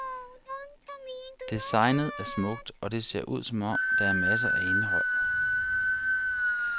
Designet er smukt, og det ser ud som om, der er masser af indhold.